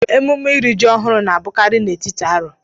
Emume ịri jị ọhụụ na-ebukari na étíti arọ